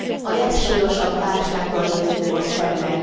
A legsúlyosabb válsággal nézünk most szembe.